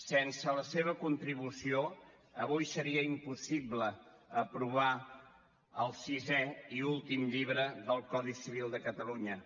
sense la seva contribució avui seria impossible aprovar el sisè i últim llibre del codi civil de catalunya